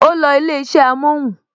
O losi ilé isẹ amohun